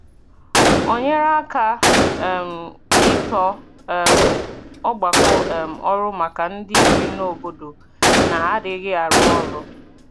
Ọ nyere aka um ịtọ um ọgbakọ um ọrụ maka ndị bi n’obodo na-adịghị arụ ọrụ.